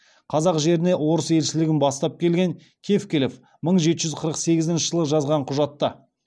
қазақ жеріне орыс елшілігін бастап келген тевкелев мың жеті жүз қырық сегізінші жылы жазған құжатта